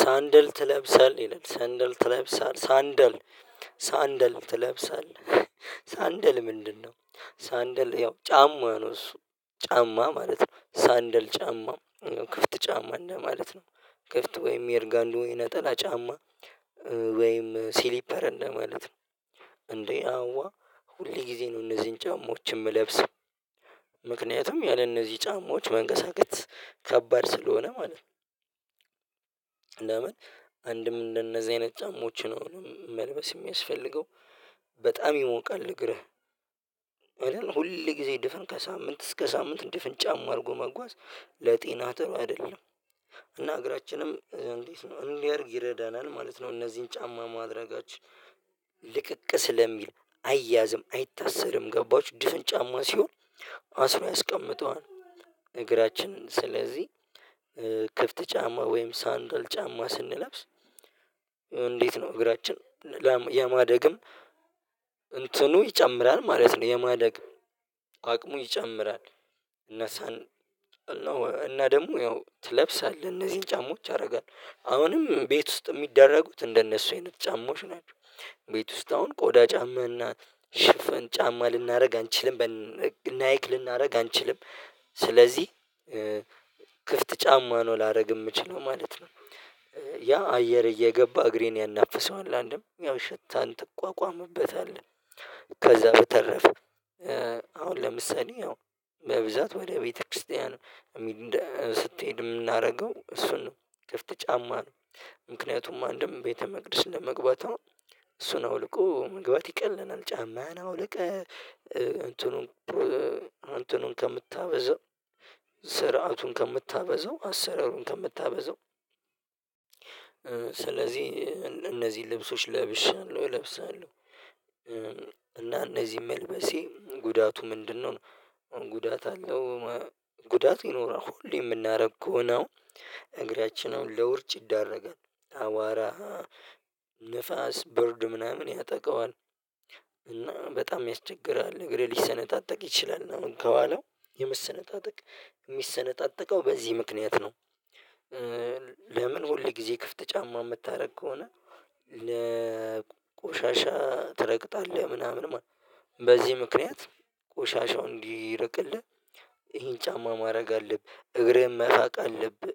ሳንደል ትለብሳለህ ይላል ሳንደል ትለብሳለህ ሳንደል ሳንደል ትለብሳለህ ሳንደል ምንድነው? ሳንደል ያው ጫማ ነው እሱ ጫማ ማለት ነው ሳንደል ጫማ ክፍት ጫማ እንደማለት ነው። ክፍት ወይም የርጋንዶ የነጠላ ጫማ ወይም ስሊፐር እንደማለት ነው። እንዴ አዋ ሁሌ ጊዜ ነው እነዚህን ጫማዎች እምለብስ ምክንያቱም ያለነዚህ ጫማዎች መንቀሳቀስ ከባድ ስለሆነ ማለት ነው። ለምን አንድም እንደነዚህ አይነት ጫማዎችን መልበስ እሚያስፈልገው በጣም ይሞቃል እግርህ አይደል ሁል ጊዜ ድፍን ከሳምንት እስከ ሳምንት ድፍን ጫማ አድርጎ መጓዝ ለጤና ጥሩ አይደለም። እና እግራችንም እንዴት ነው እንዲያድግ ይረዳናል ማለት ነው። እነዚህን ጫማ ማድረጋችን ልቅቅ ስለሚል አይያዝም አይታሰርም ገባችሁ ድፍን ጫማ ሲሆን አስሮ ያስቀምጠዋል እግራችን ስለዚህ ክፍት ጫማ ወይም ሳንድል ጫማ ስንለብስ እንዴት ነው እግራችን የማደግም እንትኑ ይጨምራል ማለት ነው የማደግ አቅሙ ይጨምራል። እና ደግሞ ያው ትለብሳለህ እነዚህን ጫማዎች ያደርጋል አሁንም ቤት ውስጥ እሚደረጉት እንደነሱ አይነት ጫማዎች ናቸው። ቤት ውስጥ አሁን ቆዳ ጫማ እና ሽፈን ጫማ ልናደርግ አንችልም በናይክ ልናደርግ አንችልም። ስለዚህ ክፍት ጫማ ነው ላደርግ እምችለው ማለት ነው። ያ አየር እየገባ እግሬን ያናፍሰዋል አንድም ያው ሽታን ትቋቋምበታለህ። ከዛ በተረፈ አሁን ለምሳሌ ያው በብዛት ወደ ቤተክርስቲያን ስትሄድ የምናደርገው እሱን ነው ክፍት ጫማ ነው። ምክንያቱም አንድም ቤተ መቅደስ ለመግባት እሱን አውልቆ መግባት ይቀለናል ጫማን አውልቀህ እንትኑን እንትኑን ከምታበዛው ስርዓቱን ከምታበዛው አሰረሩን ከምታበዛው ስለዚህ እነዚህ ልብሶች ለብሻለሁ እለብሳለሁ። እና እነዚህን መልበሴ ጉዳቱ ምንድነው? ጉዳት አለው። ጉዳት ይኖራል ሁሌ እምናደርገው ከሆነ እግራችንን ለውርጭ ይዳረጋል አቧራ ንፋስ በርድ ምናምን ያጠቃዋል። እና በጣም ያስቸግራል እግሬ ሊሰነጣጥቅ ይችላል ነው ከኋላው የመሰነጣጠቅ የሚሰነጣጠቀው በዚህ ምክንያት ነው። ለምን ሁል ጊዜ ክፍት ጫማ እምታደርግ ከሆነ። ቆሻሻ ትረግጣለህ ምናምን በዚህ ምክንያት ቆሻሻው እንዲርቅልህ ይሄን ጫማ ማድረግ አለብህ እግርህን መፋቅ አለብህ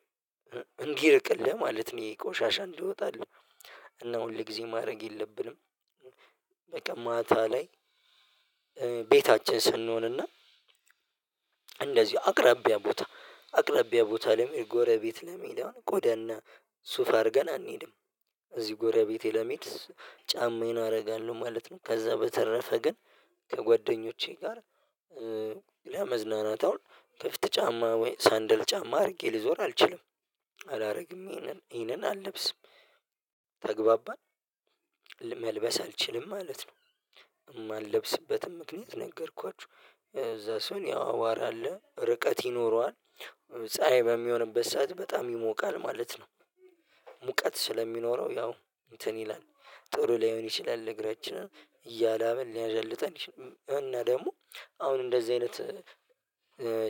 እንዲርቅልህ ማለት ነው። ይሄ ቆሻሻ እንዲወጣልህ እና ሁል ጊዜ ማድረግ የለብንም። በቃ ማታ ላይ ቤታችን ስንሆን እና እንደዚህ አቅራቢያ ቦታ አቅራቢያ ቦታ ለመሄድ ጎረቤት ለመሄድ አሁን ቆዳና ሱፍ አድርገን አንሄድም እዚህ ጎረቤቴ ለመሄድ ጫማዬን አደርጋለሁ ማለት ነው። ከዛ በተረፈ ግን ከጓደኞቼ ጋር ለመዝናናት አሁን ከፍት ጫማ ወይ ሳንደል ጫማ አድርጌ ልዞር አልችልም። አላደርግም ይሄንን አልለብስም። ተግባባን መልበስ አልችልም ማለት ነው። እማልለብስበትም ምክንያት ነገርኳችሁ እዛ ሰውን ያው አቧራ አለ ርቀት ይኖረዋል ፀሀይ በሚሆንበት ሰዓት በጣም ይሞቃል ማለት ነው። ሙቀት ስለሚኖረው ያው እንትን ይላል ጥሩ ላይሆን ይችላል ለእግራችን እያላበን ሊያዳልጠን ይችላል እና ደግሞ አሁን እንደዚህ አይነት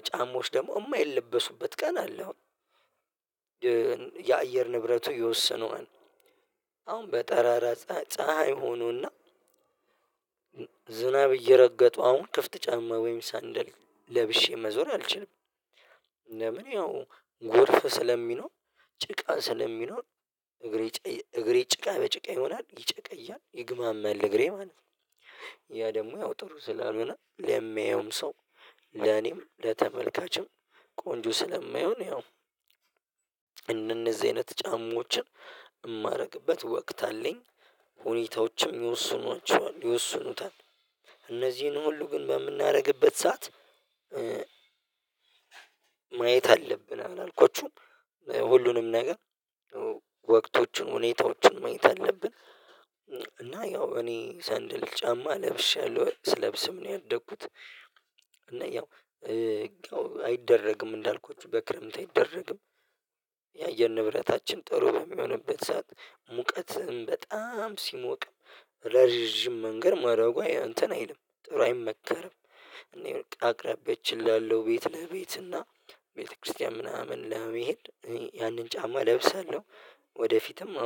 ጫማዎች ደግሞ እማይለበሱበት ቀን አለ። አሁን የአየር ንብረቱ የወሰነው አሁን በጠራራ ፀሀይ ፀሀይ ሆኖና ዝናብ እየረገጠው አሁን ክፍት ጫማ ወይም ሳንደል ለብሼ መዞር አልችልም። ለምን ያው ጎርፍ ስለሚኖር ጭቃ ስለሚኖር እግሬ ጭቃ በጭቃ ይሆናል ይጨቀያል ይግማማል እግሬ ማለት ነው። ያ ደግሞ ያው ጥሩ ስላልሆነ ለሚያየውም ሰው ለኔም ለተመልካችም ቆንጆ ስለማይሆን ያው እንደነዚህ አይነት ጫማዎችን እማደርግበት ወቅት አለኝ። ሁኔታዎችም ይወስኗቸዋል ይወስኑታል እነዚህን ሁሉ ግን በምናደርግበት ሰዓት ማየት አለብን አላልኳችሁም ሁሉንም ነገር ወቅቶቹን ሁኔታዎችን ማየት አለብን። እና ያው እኔ ሰንድል ጫማ ለብሻለሁኝ ስለብስም ነው ያደግኩት እና ያው አይደረግም እንዳልኩት በክረምት አይደረግም። የአየር ንብረታችን ጥሩ በሚሆንበት ሰዓት ሙቀትም በጣም ሲሞቅ ረዥም መንገድ ማረጉ አንተን አይልም ጥሩ አይመከርም እኔ አቅራቢያችን ላለው ቤት ለቤት እና ቤተክርስቲያን ምናምን ለመሄድ ያንን ጫማ እለብሳለሁ። ወደፊትም